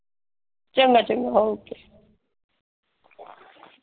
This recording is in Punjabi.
ਚੰਗਾ ਚੰਗਾ ਓਕੇ।